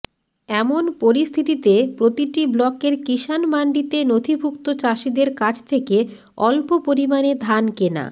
এমন পরিস্থিতিতে প্রতিটি ব্লকের কিসানমান্ডিতে নথিভুক্ত চাষিদের কাছ থেকে অল্প পরিমাণে ধান কেনা